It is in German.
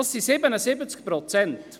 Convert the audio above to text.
Das entspricht 77 Prozent.